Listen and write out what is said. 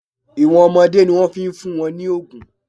Ìwọ̀n ọmọdé ni wọ́n fi ń fún wọn ní òògùn.